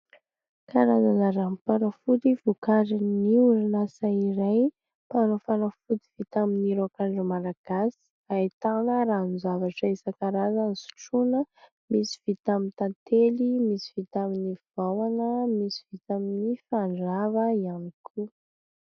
Karazana ranom-panafody vokarin'ny orinasa iray mpanao fanafody vita amin'ny raok'andro Malagasy ahitana ranon-javatra isan-karazany sotrohina misy vita amin'ny tantely misy vita amin'ny vahona misy vita amin'ny fandrava ihany koa.